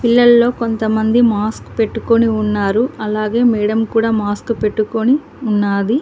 పిల్లల్లో కొంతమంది మాస్క్ పెట్టుకొని ఉన్నారు అలాగే మేడం కూడా మాస్క్ పెట్టుకొని ఉన్నాది.